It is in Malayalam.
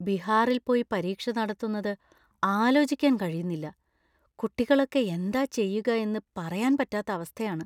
ബിഹാറിൽ പോയി പരീക്ഷ നടത്തുന്നത് ആലോചിക്കാൻ കഴിയുന്നില്ല; കുട്ടികളൊക്കെ എന്താ ചെയ്യുക എന്ന് പറയാൻ പറ്റാത്ത അവസ്ഥയാണ്.